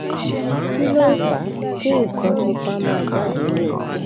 kí ló ń fa kin nkan pupa ma jade ni oko